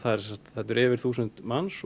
þetta eru yfir þúsund manns